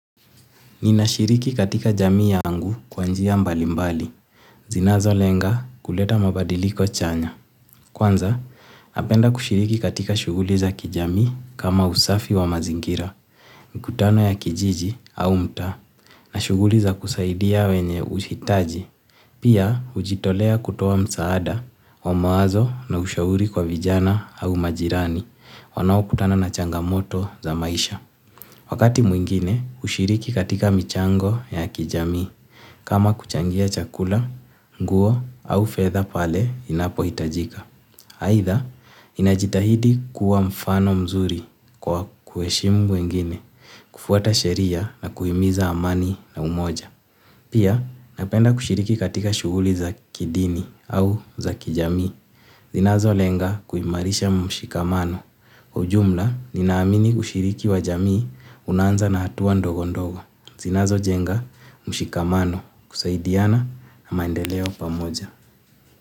Ninashiriki katika jamii yangu kwa njia mbalimbali, zinazo lenga kuleta mabadiliko chanya. Kwanza, napenda kushiriki katika shuguli za kijamii kama usafi wa mazingira, mikutano ya kijiji au mtaa, na shuguli za kusaidia wenye uhitaji. Pia, ujitolea kutoa msaada wa mawazo na ushauri kwa vijana au majirani wanao kutana na changamoto za maisha. Wakati mwingine, ushiriki katika michango ya kijamii. Kama kuchangia chakula nguo au fedha pale inapohitajika aitha, ninajitahidi kuwa mfano mzuri kwa kueshimu wengine kufuata sheria na kuhimiza amani na umoja. Pia, napenda kushiriki katika shuhuli za kidini au za kijamii. Zinazo lenga kuimarisha mshikamano. Kwa ujumla, ninaamini ushiriki wa jamii unaanza na hatua ndogo ndogo. Zinazo jenga mshikamano kusaidiana na maendeleo pamoja.